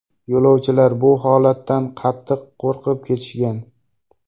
Yo‘lovchilar bu holatdan qattiq qo‘rqib ketishgan.